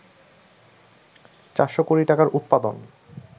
৪০০ কোটি টাকার উৎপাদন